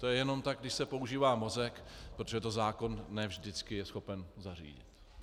To je jenom tak, když se používá mozek, protože to zákon ne vždycky je schopen zařídit.